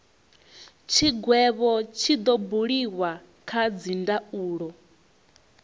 tshigwevho tshi do buliwa kha dzindaulo